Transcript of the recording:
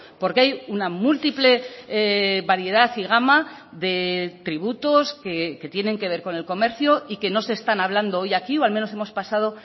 porque hay una múltiple variedad y gama de tributos que tienen que ver con el comercio y que no se están hablando hoy aquí o al menos hemos pasado